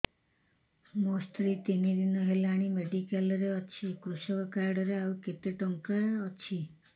ମୋ ସ୍ତ୍ରୀ ତିନି ଦିନ ହେଲାଣି ମେଡିକାଲ ରେ ଅଛି କୃଷକ କାର୍ଡ ରେ ଆଉ କେତେ ଟଙ୍କା ଅଛି